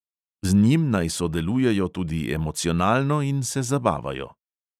Z njim naj sodelujejo tudi emocionalno in se zabavajo.